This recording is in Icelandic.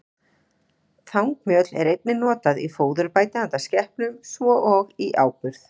Þangmjöl er einnig notað í fóðurbæti handa skepnum, svo og í áburð.